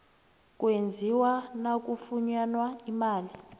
kwenziwa nakufunyanwa imali